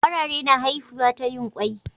Kwarare na haifiwa ta yin kwai.